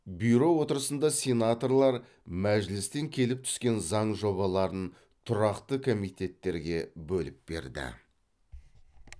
бюро отырысында сенаторлар мәжілістен келіп түскен заң жобаларын тұрақты комитеттерге бөліп берді